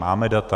Máme data.